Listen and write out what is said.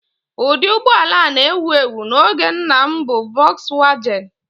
Ụdị ụgbọ ala a na-ewu ewu n'oge nna m bụ Volkswagen